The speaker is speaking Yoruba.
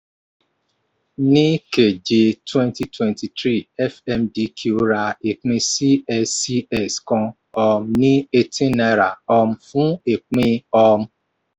ní keje twenty twenty three fmdq ra ìpín cscs kan um ní eighteen naira um fun ìpín. um